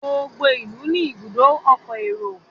gbogbo ilú ní Ibùdó ọkọ̀ èrò